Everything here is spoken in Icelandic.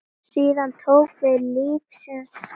Síðan tók við lífsins skóli.